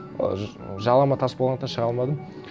ы жалама тас болғандықтан шыға алмадым